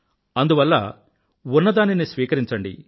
అందువల్ల ఉన్నదానిని స్వీకరించండి